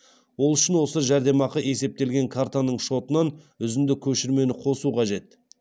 ол үшін осы жәрдемақы есептелген картаның шотынан үзінді көшірмені қосу қажет